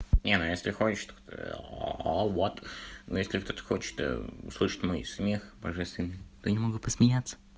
не ну если хочешьа вот но если кто-то хочет услышать мой смех божественный то они могут посмеяться